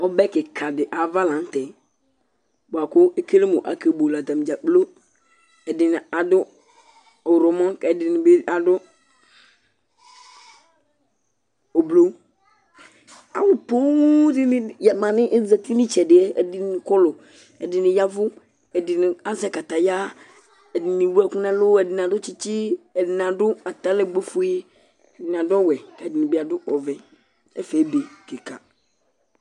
Ɔbɛ kìka di ava la ntɛ bʋakʋ ekele mʋ ake bʋele atadza kplo Ɛdiní ɔwlɔmɔ kʋ ɛdíni bi adu ʋblu Alu poo dìní azɛti nu itsɛdi yɛ, ɛdiní kɔlu, ɛdiní yavʋ, ɛdiní azɛ kataya, ɛdiní ɛwu ɛku nʋ ɛlu, ɛdiní adu tsitsi, ɛdiní adu atalɛgbo fʋe Ɛdiní adu ɔwɛ kʋ ɛdiní bi adu ɔvɛ Ɛfɛ ebe kìka